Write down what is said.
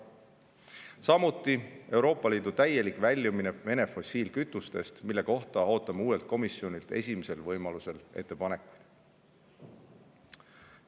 Samuti Euroopa Liidu täielik Vene fossiilkütustest, mille kohta ootame uuelt komisjonilt esimesel võimalusel ettepanekuid.